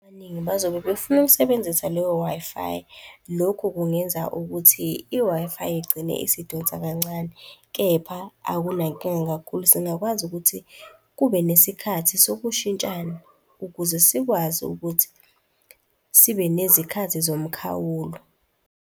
Abaningi bazobe befuna ukusebenzisa leyo Wi-Fi, lokhu kungenza ukuthi i-Wi-Fi igcine isidonsa kancane, kepha akunankinga kakhulu. Singakwazi ukuthi kube nesikhathi sokushintshana ukuze sikwazi ukuthi sibe nezikhathi zomkhawulo.